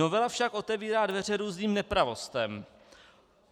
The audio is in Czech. Novela však otevírá dveře různým nepravostem.